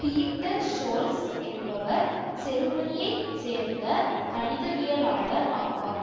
Peter Scholze என்பவர் செருமனியைச் சேர்ந்த கணிதவியலாளர் ஆவார்